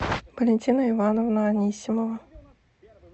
валентина ивановна анисимова